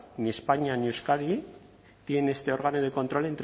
ni españa ni euskadi tiene este órgano de control